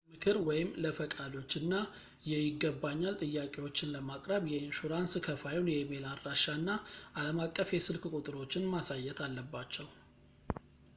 ለምክር/ለፈቃዶች እና የይገባኛል ጥያቄዎችን ለማቅረብ የኢንሹራንስ ከፋዩን የኢሜይል አድራሻ እና አለም አቀፍ የስልክ ቁጥሮችን ማሳየት አለባቸው